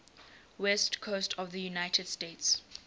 west coast of the united states